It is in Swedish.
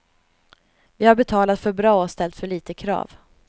Vi har betalat för bra och ställt för lite krav.